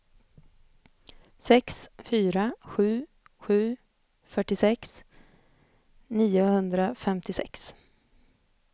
sex fyra sju sju fyrtiosex niohundrafemtiosex